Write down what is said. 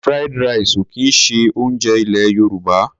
Fried rice ò kì í ṣe oúnjẹ ilẹ̀ Yorùbá.